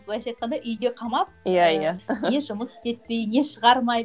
былайша айтқанда үйде қамап иә иә не жұмыс істетпей не шығармай